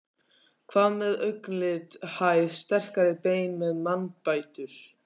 Hvað með augnlit, hæð, sterkari bein, mannbætur?